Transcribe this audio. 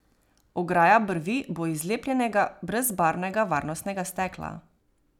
Ograja brvi bo iz lepljenega brezbarvnega varnostnega stekla.